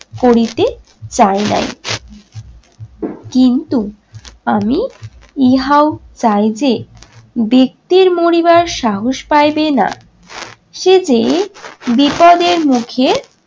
করিতে চাইনাই। কিন্তু আমি ইহাও চাই যে ব্যক্তির মরিবার সাহস পাইবে না সে যে বিপদের মুখে